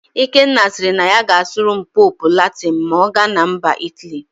Ikenna siri na ya ga-asụrụ Pope Latịn ma ọ gana MbaIt aly